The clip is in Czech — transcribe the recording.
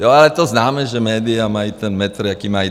Jo, ale to známe, že média mají ten metr, jaký mají.